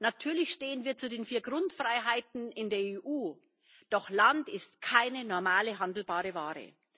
Natürlich stehen wir zu den vier Grundfreiheiten in der EU, doch Land ist keine normale, handelbare Ware!